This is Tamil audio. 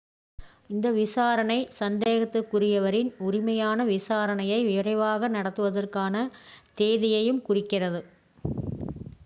இந்த விசாரணை சந்தேகத்திற்குரியவரின் உரிமையான விசாரணையை விரைவாக நடத்துவதற்கான தேதியையும் குறிக்கிறது